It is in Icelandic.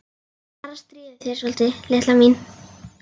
Bara að stríða þér svolítið, litla mín.